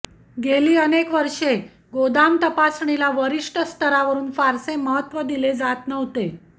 गेली अनेक वर्षे गोदाम तपासणीला वरिष्ठ स्तरावरून फारसे महत्त्व दिले जात नव्हते